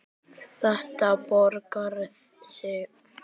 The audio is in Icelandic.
Þetta borgar sig ekki.